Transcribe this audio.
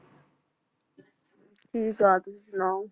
ਠੀਕ ਆ ਤੁਸੀਂ ਸੁਣਾਓ